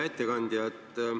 Hea ettekandja!